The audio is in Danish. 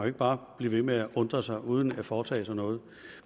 ikke bare blive ved med at undre sig uden at foretage sig noget